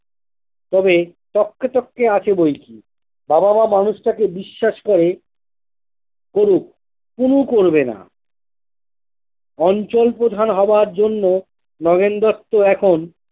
তবে তক্কে তক্কে আছে বৈকি বাবা মা মানুষটাকে বিশ্বাস করে করুক পুলু করবেনা অঞ্চল প্রধান হবার জন্য নগেন দত্ত এখন।